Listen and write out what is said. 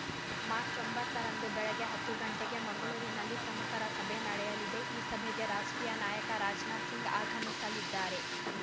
March ಒಂಬತ್ತು ರಂದು ಬೆಳಗ್ಗೆ ಹತ್ತು ಗಂಟೆಗೆ ಮಂಗಳೂರಿನಲ್ಲಿ ಪ್ರಮುಖರ ಸಭೆ ನಡೆಯಲಿದೆ ಈ ಸಭೆಗೆ ರಾಷ್ಟ್ರೀಯ ನಾಯಕ ರಾಜನಾಥಸಿಂಗ್‌ ಆಗಮಿಸಲಿದ್ದಾರೆ